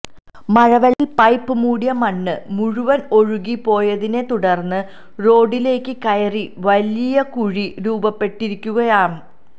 മഴവെളളത്തില് pipe മുടിയ മണ്ണ് മുഴുവന് ഒഴുകി പോയതിന്നെ തുടര്ന്ന് റോഡിലേയ്ക്ക് കയറി വലിയ കുഴി രൂപപ്പെട്ടിരിക്കുകയാമ്